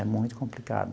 É muito complicado.